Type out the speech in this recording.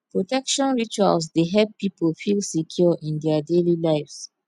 protection rituals dey help pipo feel secure in dia daily lives